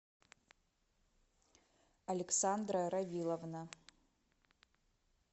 александра равиловна